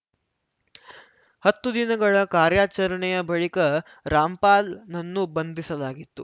ಹತ್ತು ದಿನಗಳ ಕಾರ್ಯಾಚರಣೆಯ ಬಳಿಕ ರಾಮ್‌ಪಾಲ್‌ನನ್ನು ಬಂಧಿಸಲಾಗಿತ್ತು